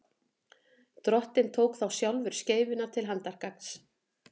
drottinn tók þá sjálfur skeifuna til handargagns